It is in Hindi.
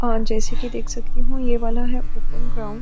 और जैसे कि देख सकती हूं यह वाला है ओपन ग्राउंड ।